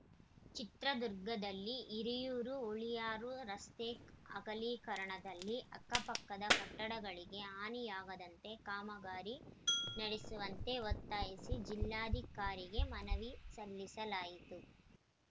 ಚಿತ್ರದುರ್ಗದಲ್ಲಿ ಹಿರಿಯೂರು ಹುಳಿಯಾರು ರಸ್ತೆ ಅಗಲೀಕರಣದಲ್ಲಿ ಅಕ್ಕಪಕ್ಕದ ಕಟ್ಟಡಗಳಿಗೆ ಹಾನಿಯಾಗದಂತೆ ಕಾಮಗಾರಿ ನಡೆಸುವಂತೆ ಒತ್ತಾಯಿಸಿ ಜಿಲ್ಲಾಧಿಕಾರಿಗೆ ಮನವಿ ಸಲ್ಲಿಸಲಾಯಿತು